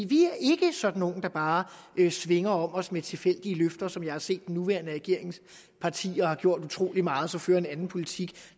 vi er ikke sådan nogle der bare svinger om os med tilfældige løfter som jeg har set nuværende regeringspartier har gjort utrolig meget og så fører en anden politik